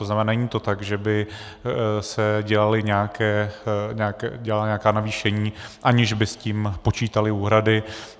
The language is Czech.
To znamená, není to tak, že by se dělala nějaká navýšení, aniž by s tím počítaly úhrady.